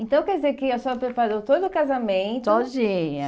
Então quer dizer que a senhora preparou todo o casamento... Sozinha.